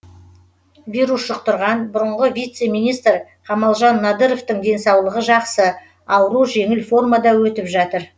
вирус жұқтырған бұрынғы вице министр қамалжан надыровтың денсаулығы жақсы ауру жеңіл формада өтіп жатыр